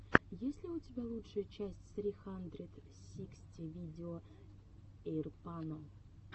есть ли у тебя лучшая часть сри хандрэд сиксти видео эйрпано